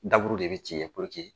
Daburu de bɛ ci yen purke